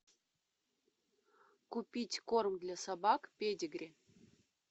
купить корм для собак педигри